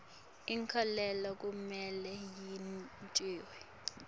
inkhokhelo kumele yentiwe